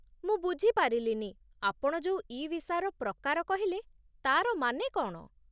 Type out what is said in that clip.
ମୁଁ ବୁଝିପାରିଲିନି, ଆପଣ ଯୋଉ 'ଇ ଭିସାର ପ୍ରକାର' କହିଲେ, ତା'ର ମାନେ କ'ଣ?